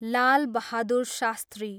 लाल Bahadur शास्त्री